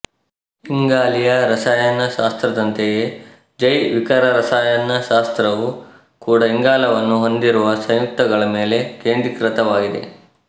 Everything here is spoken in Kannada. ಇಂಗಾಲೀಯ ರಸಾಯನಶಾಸ್ತ್ರದಂತೆಯೇ ಜೈವಿಕರಸಾಯನಶಾಸ್ತ್ರವು ಕೂಡಾ ಇಂಗಾಲವನ್ನು ಹೊಂದಿರುವ ಸಂಯುಕ್ತಗಳ ಮೇಲೆ ಕೇಂದ್ರೀಕೃತವಾಗಿದೆ